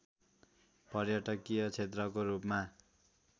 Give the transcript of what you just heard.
पर्यटकीय क्षेत्रको रूपमा